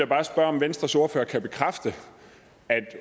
bare spørge om venstres ordfører kan bekræfte at